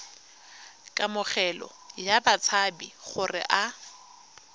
kamogelo ya batshabi gore a